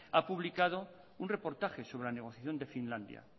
ha publicado un reportaje sobre la negociación de finlandia